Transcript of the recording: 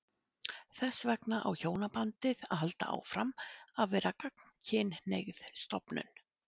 Þess vegna á hjónabandið að halda áfram að vera gagnkynhneigð stofnun.